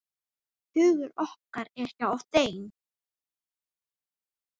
Hugur okkar er hjá þeim.